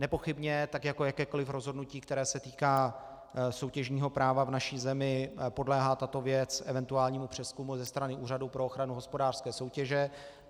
Nepochybně, tak jako jakékoliv rozhodnutí, které se týká soutěžního práva v naší zemi, podléhá tato věc eventuálnímu přezkumu ze strany Úřadu pro ochranu hospodářské soutěže.